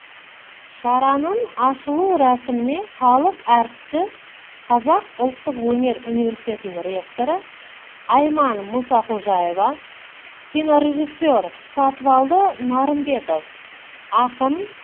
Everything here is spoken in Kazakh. шараның ашулы рәсіміне халық әртісі қазақ ұлттық өнер университетінің ректоры айман мұсақожаева кинорежиссер сатыбалды нарымбетов ақын